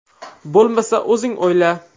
Bo‘lmasa, o‘zingni o‘yla”.